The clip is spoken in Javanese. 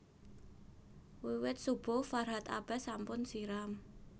Wiwit subuh Farhat Abbas sampun siram